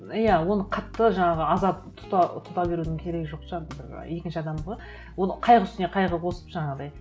иә оны қатты жаңағы азап тұта берудін керегі жоқ екінші адамға ол қайғы үстіне қайғы қосып жаңағыдай